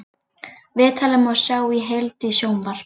Viðtalið má sjá í heild í sjónvarp